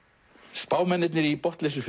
spámennirnir í